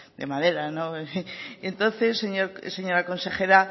de madera entonces señora consejera